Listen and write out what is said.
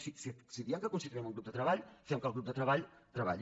si diem que constituirem un grup de treball fem que el grup de treball treballi